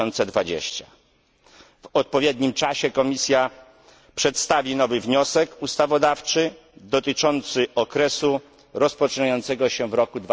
2020. W odpowiednim czasie Komisja przedstawi nowy wniosek ustawodawczy dotyczący okresu rozpoczynającego się w roku